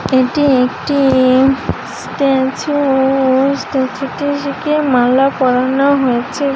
এটি একটি এ-- স্ট্যাচু ও স্ট্যাচু টিকে মালা পড়ানো হয়েছে।